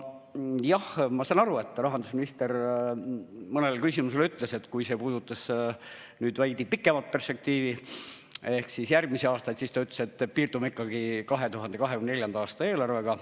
Ma saan aru, et rahandusminister ütles vastates mõnele küsimusele, mis puudutas veidi pikemat perspektiivi ehk järgmisi aastaid, et piirdume 2024. aasta eelarvega.